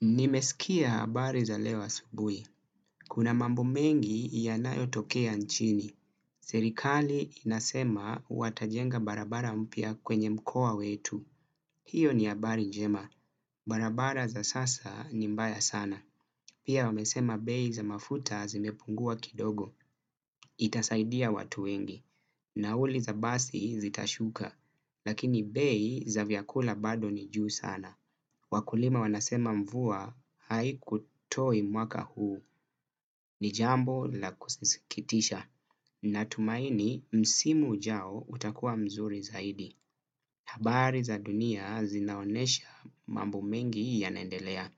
Nimesikia habari za leo asubui. Kuna mambo mengi yanayotokea nchini. Serikali inasema watajenga barabara mpya kwenye mkoa wetu. Hiyo ni habari njema. Barabara za sasa ni mbaya sana. Pia wamesema bei za mafuta zimepungua kidogo. Itasaidia watu wengi. Nauli za basi zitashuka. Lakini bei za vyakula bado ni juu sana. Wakulima wanasema mvua haikutoi mwaka huu. Ni jambo la kusikitisha. Natumaini msimu ujao utakuwa mzuri zaidi. Habari za dunia zinaonesha mambo mengi yanaendelea.